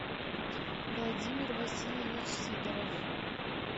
владимир васильевич сидоров